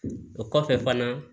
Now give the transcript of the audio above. O kɔfɛ fana